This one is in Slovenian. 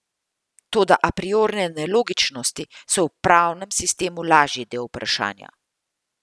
Toda apriorne nelogičnosti so v pravnem sistemu lažji del vprašanja.